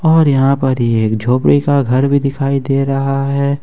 और यहां पर एक झोपड़ी का घर भी दिखाई दे रहा है।